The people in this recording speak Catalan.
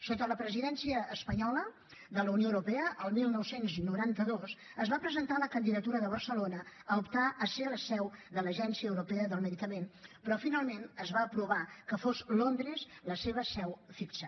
sota la presidència espanyola de la unió europea el dinou noranta dos es va presentar la candidatura de barcelona a optar a ser la seu de l’agència europea del medicament però finalment es va aprovar que fos londres la seva seu fixa